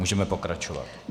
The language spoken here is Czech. Můžeme pokračovat.